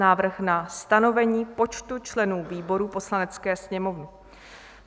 Návrh na stanovení počtu členů výborů Poslanecké sněmovny